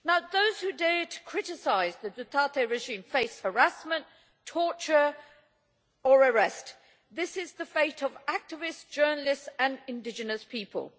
Those who dare to criticise the Duterte regime face harassment, torture or arrest, this is the fate of activists, journalists and indigenous people.